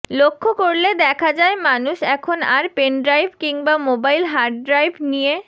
লক্ষ্য করলে দেখা যায় মানুষ এখন আর পেনড্রাইভ কিংবা মোবাইল হার্ডড্রাইভ নিয়ে